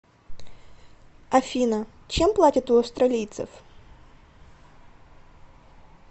афина чем платят у австралийцев